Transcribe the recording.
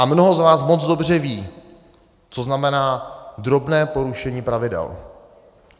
A mnoho z vás moc dobře ví, co znamená drobné porušení pravidel.